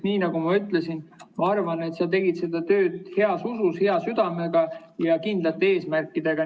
Nii nagu ma ütlesin, ma arvan, et sa tegid seda tööd heas usus, hea südamega ja kindlate eesmärkidega.